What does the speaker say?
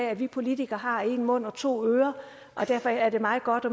at vi politikere har én mund og to ører og derfor er det meget godt